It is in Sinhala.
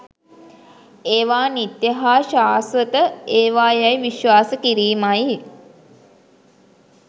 ඒවා නිත්‍ය හා ශාස්වත ඒවා යැයි විශ්වාස කිරීමයි.